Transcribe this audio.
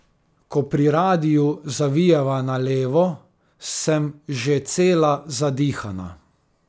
Ko pri radiu zavijeva na levo, sem že cela zadihana.